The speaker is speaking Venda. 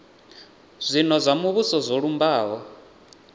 zwino zwa muvhuso zwo lumbaho